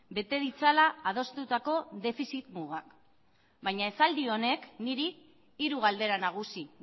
bete ditzala adostutako defizit mugak baina esaldi honek niri hiru galdera nagusi